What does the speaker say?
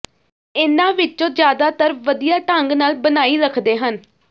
ਇਨ੍ਹਾਂ ਵਿੱਚੋਂ ਜ਼ਿਆਦਾਤਰ ਵਧੀਆ ਢੰਗ ਨਾਲ ਬਣਾਈ ਰੱਖਦੇ ਹਨ